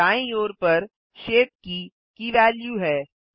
दाईँ ओर पर शेप की की वेल्यू है